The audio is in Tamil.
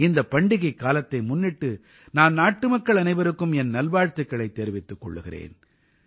இந்தப் பண்டிகைக் காலத்தை முன்னிட்டு நான் நாட்டுமக்கள் அனைவருக்கும் என் நல்வாழ்த்துக்களைத் தெரிவித்துக் கொள்கிறேன்